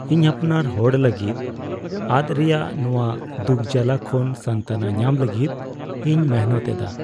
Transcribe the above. ᱤᱧ ᱟᱯᱱᱟᱨ ᱦᱚᱲ ᱞᱟᱹᱜᱤᱫ ᱟᱫ ᱨᱮᱭᱟᱜ ᱱᱚᱶᱟ ᱫᱩᱠᱼᱡᱟᱞᱟ ᱠᱷᱚᱱ ᱥᱟᱱᱛᱚᱱᱟ ᱧᱟᱢ ᱞᱟᱹᱜᱤᱫ ᱤᱧ ᱢᱤᱱᱦᱟᱹᱛ ᱮᱫᱟ ᱾